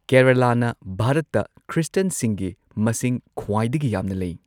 ꯀꯦꯔꯂꯥꯅ ꯚꯥꯔꯠꯇ ꯈ꯭ꯔꯤꯁꯇꯤꯌꯟꯁꯤꯡꯒꯤ ꯃꯁꯤꯡ ꯈ꯭ꯋꯥꯏꯗꯒꯤ ꯌꯥꯝꯅ ꯂꯩ꯫